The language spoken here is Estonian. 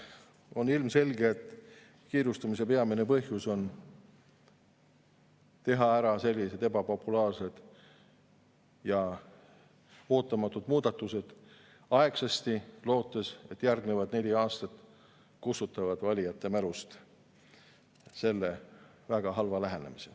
On ilmselge, et kiirustamise peamine põhjus on need ebapopulaarsed ja ootamatud muudatused aegsasti ära teha, lootes, et järgmised neli aastat selle väga halva lähenemise valijate mälust kustutavad.